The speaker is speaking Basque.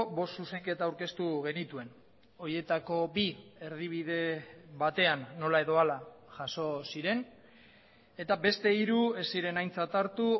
bost zuzenketa aurkeztu genituen horietako bi erdibide batean nola edo hala jaso ziren eta beste hiru ez ziren aintzat hartu